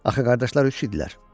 Axı qardaşlar üç idilər.